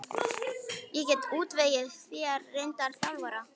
Ég get útvegað þér reyndan þjálfara.